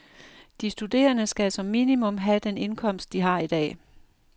De studerende skal som minimum have den indkomst, de har i dag.